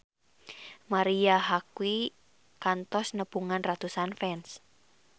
Marisa Haque kantos nepungan ratusan fans